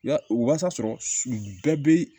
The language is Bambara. Ya o wasa sɔrɔ bɛɛ bɛ